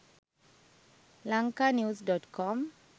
lanka news.com